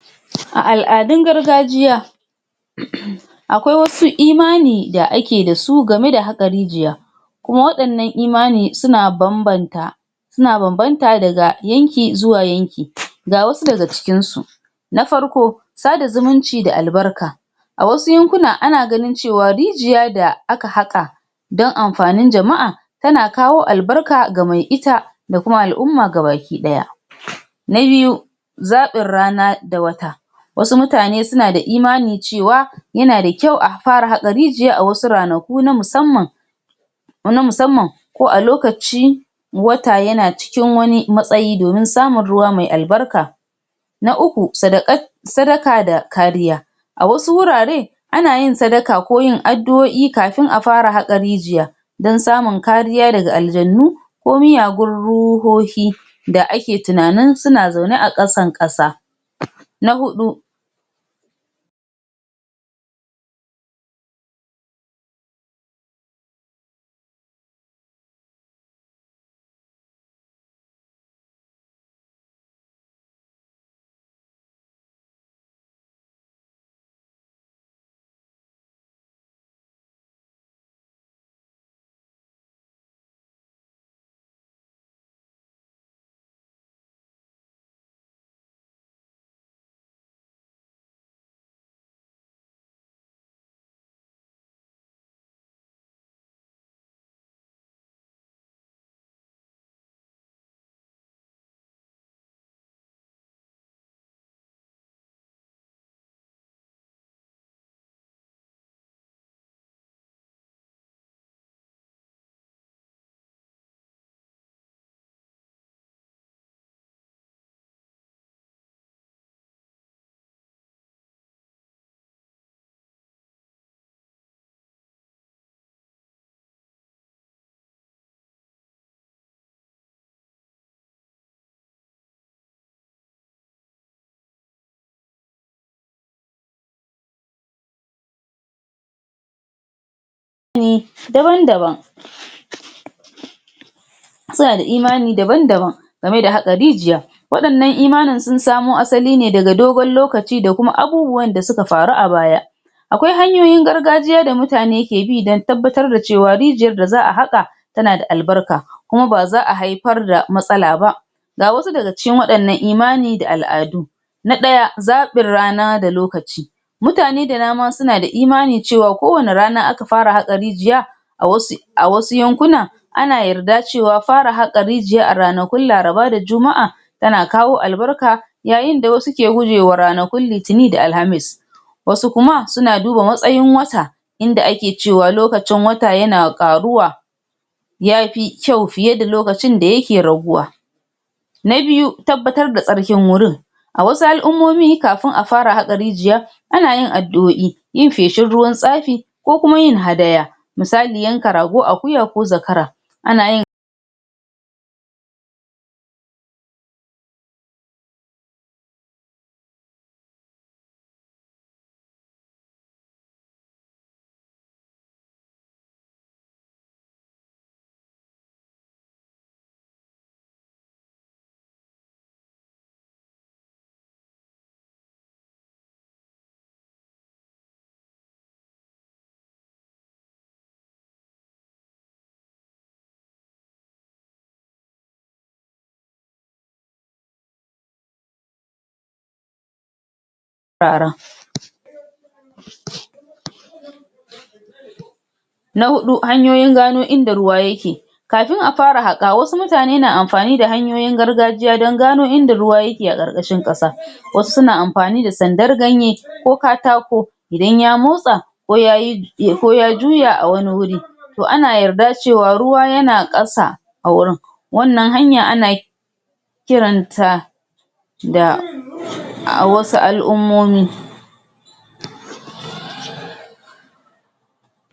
A al'adun gargajiya uuuu akwai wasu imani da ake da su gamai da haka rijiya kuma wa'yannan imani suna babbanta suna babbanta daga yanki zuwa yanki, ga wasu daga cikin su na farko sada zumunci da albarka a wasu yankuna ana ganin cewa rijiya da aka haka dan amfanin jama'a tana kawo albarka ga mai ita da kuma al'uma gabaki daya na biyu zabin rana da wata wasu mutane suna da imanin cewa yana da kyau a fara haka rijiya a wasu ranaku na musamman na musamman ko a lokaci wata yana cikin wani matsayi domin samun ruwa mai al'barka na uku sadakat sadaka da kariya a wasu wurare anayin sadaka ko addu'o'i kafin a fara haka rijiya dan samun kariya daga aljannu ko muyagun ruhohi da ake tinanin suna zaune a kasan kasa na hudu na wuri daban suna da imani daban-daban gamai da haka rijiya wadannan imanin sun samo asali ne daga dogon lokaci ne, da abubuwan da suka faru a baya akwai hanyoyin gargajiya da mutane ke bi dan tabbatar da cewa rijiyar da za a haka tana da al'barka kuma ba za a haifar da matsala ba ga wasu daga cikin imani da al'adu na daya zabin rana da lokaci mutane da dama suna da imanin cewa kowani rana aka fara haka rijiya awasu awasu a wasu yankuna ana yarda cewa fara haka rijiya a ranakun laraba da juma'a tana kawo albarka yayin da wasu ke gujewa ranakun litinin da alhamis wasu kuma na duba matsayin wata inda ake cewa lokacin wata yana faruwa yafi kyau fiye da lokacin da yake raguwa na biyu tabbatar da tsarkin wurin a wasu al'ummomi kafin a fara haka rijiya ana yin addu'o'i yin faishin ruwan tsafi ko kuma yin hadaya misali yanka rago, akuya ko zakara anayin fara na hudu hanyoyin gano inda ruwa yake kafin a fara haka wasu mutane na amfani da hanyoyin gargajiya dan gano inda ruwa yake a karkashin kasa wasu suna amfani da sandar ganye ko katako idan ya motsa ko ya, ko ya juya a wani wuri to ana yarda cewa ruwa yana kasa a wurin wannan hanya ana kiranta da a wasu al'ummomi